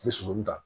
N bɛ sogo min ta